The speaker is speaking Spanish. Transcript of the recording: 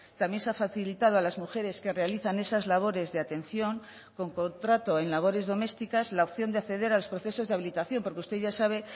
también se ha facilitado a las mujeres que realizan esas labores de atención con contrato en labores domésticas la opción de acceder a los procesos de habilitación porque usted ya sabe